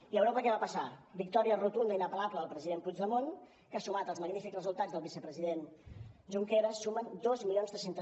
i a europa què va passar victòria rotunda inapel·lable del president puigdemont que sumat als magnífics resultats del vicepresident junqueras sumen dos mil tres cents